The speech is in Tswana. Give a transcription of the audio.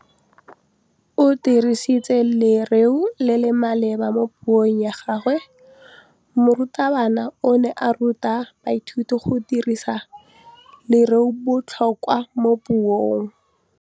O dirisitse lerêo le le maleba mo puông ya gagwe. Morutabana o ne a ruta baithuti go dirisa lêrêôbotlhôkwa mo puong.